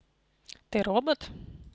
ты робот